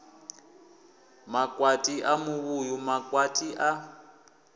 makwati a muvhuyu makwati a